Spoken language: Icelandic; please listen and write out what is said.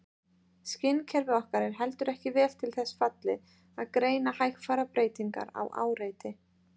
Skynkerfi okkar er heldur ekki vel til þess fallið að greina hægfara breytingar á áreiti.